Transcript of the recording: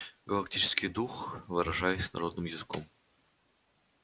галактический дух выражаясь народным языком